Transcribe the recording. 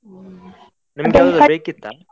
ಹ್ಮ್, .